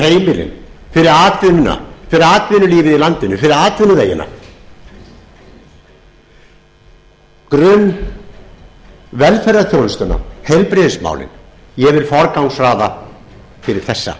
fyrir heimilin fyrir atvinnuna fyrir atvinnulífið í landinu fyrir atvinnuvegina grunnvelferðarþjónustuna heilbrigðismálin ég vil forgangsraða fyrir þessa